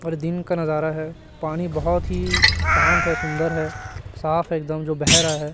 और दिन का नजारा है पानी बहुत ही शांत है सुंदर है साफ है एक दम जो बह रहा है।